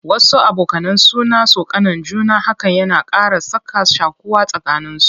Wasu abokanan suna tsokanan juna, hakan yana ƙara sa ka shaƙuwa a tsakanin su.